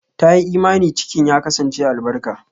Ta yi imani cikin ya kasance albarka.